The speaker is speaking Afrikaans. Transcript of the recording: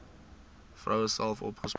vroue self opgespoor